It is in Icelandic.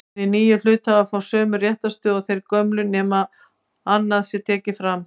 Hinir nýju hluthafar fá sömu réttarstöðu og þeir gömlu nema annað sé tekið fram.